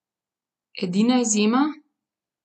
Edina izjema?